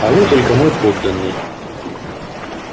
а вы только мой подданный